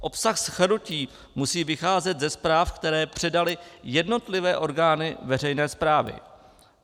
Obsah shrnutí musí vycházet ze zpráv, které předaly jednotlivé orgány veřejné správy.